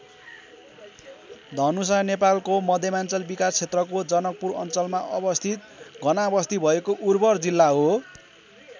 धनुषा नेपालको मध्यमाञ्चल विकास क्षेत्रको जनकपुर अञ्चलमा अवस्थित घनाबस्ती भएको उर्वर जिल्ला हो।